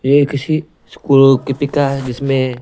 ये किसीस्कूल को किपिका जिसमें।